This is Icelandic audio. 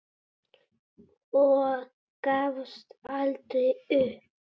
Og gafst aldrei upp.